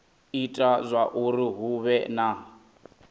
ita zwauri hu vhe na